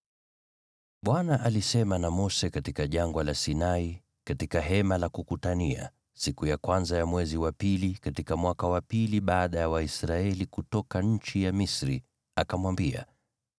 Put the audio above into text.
Bwana alisema na Mose katika Jangwa la Sinai, katika Hema la Kukutania, siku ya kwanza ya mwezi wa pili, katika mwaka wa pili baada ya Waisraeli kutoka nchi ya Misri. Akamwambia,